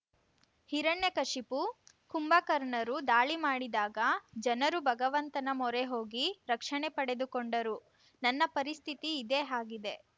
ಹಿರಣ್ಯಕಶಿಪು ಕುಂಭಕರ್ಣರು ದಾಳಿ ಮಾಡಿದಾಗ ಜನರು ಭಗವಂತನ ಮೊರೆ ಹೋಗಿ ರಕ್ಷಣೆ ಪಡೆದುಕೊಂಡರು ನನ್ನ ಪರಿಸ್ಥಿತಿ ಇದೇ ಆಗಿದೆ